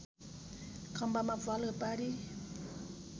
खम्बामा प्वाल पारी